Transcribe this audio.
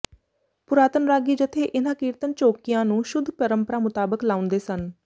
ਪੁਰਾਤਨ ਰਾਗੀ ਜਥੇ ਇਨ੍ਹਾਂ ਕੀਰਤਨ ਚੌਕੀਆਂ ਨੂੰ ਸ਼ੁੱਧ ਪਰੰਪਰਾ ਮੁਤਾਬਕ ਲਾਉਂਦੇ ਸਨ